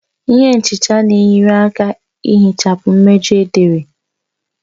Ihe nchicha na-enyere aka ihichapụ mmejọ edere